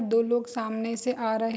दो लोग सामने से आ रहे --